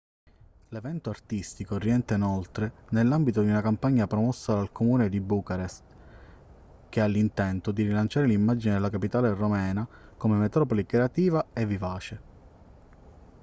l'evento artistico rientra inoltre nell'ambito di una campagna promossa dal comune di bucarest che ha l'intento di rilanciare l'immagine della capitale romena come metropoli creativa e vivace